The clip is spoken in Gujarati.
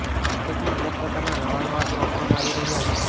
માર્કેટમાં અનેક પ્રકારના નવા નવા સ્માર્ટફોન આવી રહ્યાં છે